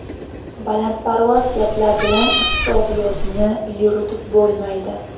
Balandparvoz gaplar bilan iqtisodiyotni yuritib bo‘lmaydi.